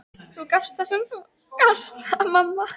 Þú gafst það sem þú gast, mamma.